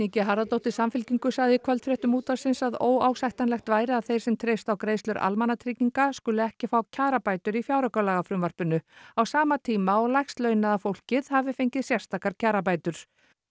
g Harðardóttir Samfylkingu sagði í kvöldfréttum útvarpsins að óásættanlegt væri að þeir sem treysti á greiðslur almannatrygginga skuli ekki fá kjarabætur í fjáraukalagafrumvarpinu á sama tíma og lægst launaða fólkið hafi fengið sérstakar kjarabætur